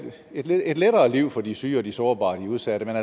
et lettere liv for de syge de sårbare og de udsatte men